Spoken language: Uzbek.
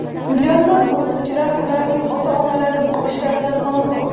Millionlab o‘quvchilar, ularning ota-onalari bu ishlardan mamnun.